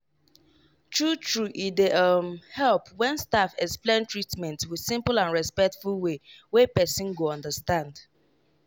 true true e dey um help when staff explain treatment with simple and respectful way wey person go understand.